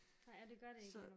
Nej og det gør det ikke lige nu